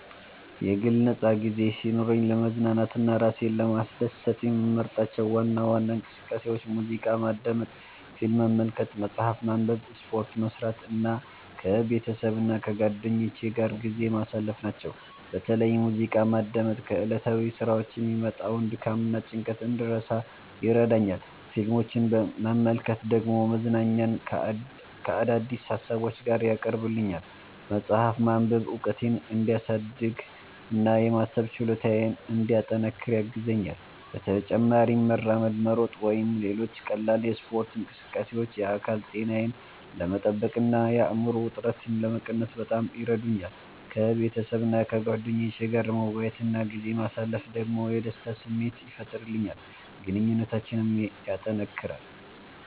የግል ነፃ ጊዜ ሲኖረኝ ለመዝናናትና ራሴን ለማስደሰት የምመርጣቸው ዋና ዋና እንቅስቃሴዎች ሙዚቃ ማዳመጥ፣ ፊልም መመልከት፣ መጽሐፍ ማንበብ፣ ስፖርት መስራት እና ከቤተሰብና ከጓደኞቼ ጋር ጊዜ ማሳለፍ ናቸው። በተለይ ሙዚቃ ማዳመጥ ከዕለታዊ ሥራዎች የሚመጣውን ድካምና ጭንቀት እንድረሳ ይረዳኛል፣ ፊልሞችን መመልከት ደግሞ መዝናኛን ከአዳዲስ ሀሳቦች ጋር ያቀርብልኛል። መጽሐፍ ማንበብ እውቀቴን እንዲያሳድግ እና የማሰብ ችሎታዬን እንዲያጠናክር ያግዘኛል። በተጨማሪም መራመድ፣ መሮጥ ወይም ሌሎች ቀላል የስፖርት እንቅስቃሴዎች የአካል ጤናዬን ለመጠበቅ እና የአእምሮ ውጥረትን ለመቀነስ በጣም ይረዱኛል። ከቤተሰቤና ከጓደኞቼ ጋር መወያየት እና ጊዜ ማሳለፍ ደግሞ የደስታ ስሜት ይፈጥርልኛል፣ ግንኙነታችንንም ያጠናክራል።